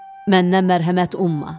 Məndən mərhəmət umma.